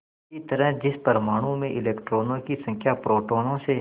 इसी तरह जिस परमाणु में इलेक्ट्रॉनों की संख्या प्रोटोनों से